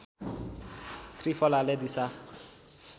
त्रिफलाले दिसा